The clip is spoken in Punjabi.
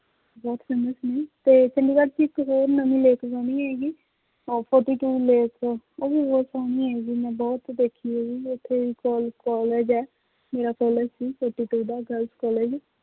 ਬਹੁਤ famous ਨੇ ਤੇ ਚੰਡੀਗੜ੍ਹ ਚ ਇੱਕ ਹੋਰ ਨਵੀਂ lake ਬਣੀ ਹੈਗੀ ਉਹ lake ਉਹ ਵੀ ਬਹੁਤ ਸੋਹਣੀ ਹੈਗੀ ਮੈਂ ਬਹੁਤ ਦੇਖੀ ਹੈਗੀ ਉੱਥੇ ਕਲ college ਹੈ ਮੇਰਾ college ਸੀ girls college